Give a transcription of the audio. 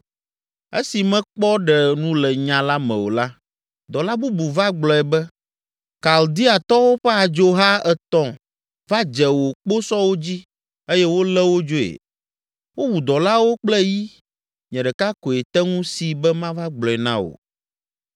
Esi mekpɔ ɖe nu le nya la me o la, dɔla bubu va gblɔ be, “Kaldeatɔwo ƒe adzoha etɔ̃ va dze wò kposɔwo dzi eye wolé wo dzoe. Wowu dɔlawo kple yi, nye ɖeka koe te ŋu si be mava gblɔe na wò!”